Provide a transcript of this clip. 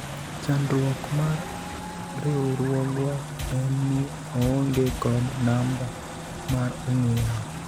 chandruok mar riwruogwa en ni oonge kod namba mar ong'we yamo